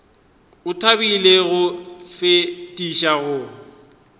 o thabile go fetiša go